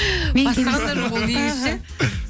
бастаған да жоқ ол негізі ше